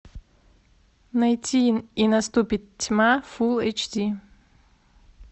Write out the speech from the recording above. найти и наступит тьма фул эйч ди